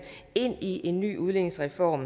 ind i en ny udligningsreform